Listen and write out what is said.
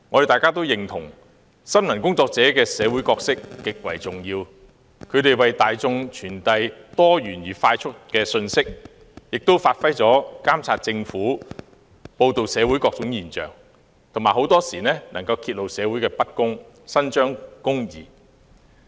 大家均認同新聞工作者的社會角色極為重要，他們為大眾快速傳遞多元的信息，發揮監察政府的功能、報道社會各種現象，很多時能夠揭露社會的不公，伸張公義。